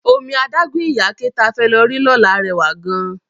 Omi adágún Ìyáké ta fẹ́ lọ rí lọ́la rẹwà gan-an